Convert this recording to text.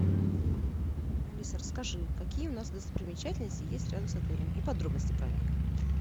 алиса расскажи какие у нас достопримечательности есть рядом с отелем и подробности про них